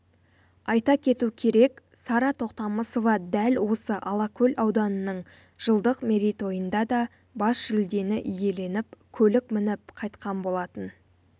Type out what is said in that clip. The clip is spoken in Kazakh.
айта кету керек сара тоқтамысова дәл осы алакөл ауданының жылдық мерейтойында да бас жүлдені иеленіп көлік мініп қайтқан болатын